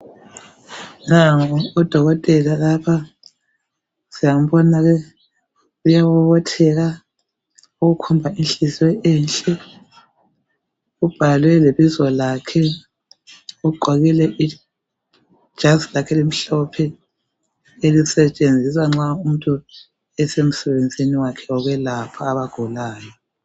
Nangu udokotela lapha siyambona uyabobotheka okukhomba inhliziyo enhle .Kubhalwe lebizo lakhe .Ugqokile ijazi lakhe elimhlophe elisetshenziswa nxa umuntu esemsebenzini wakhe wokwelapha abagulayo .